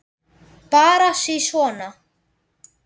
Bara sisona.